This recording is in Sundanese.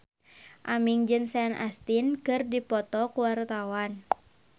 Aming jeung Sean Astin keur dipoto ku wartawan